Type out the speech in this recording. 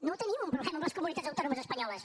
no tenim un problema amb les comunitats autònomes espanyoles